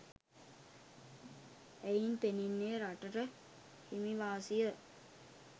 එයින් පෙනෙන්නේ රටට හිමි වාසිය